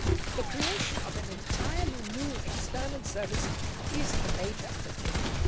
The creation of an entirely new external service is a major undertaking.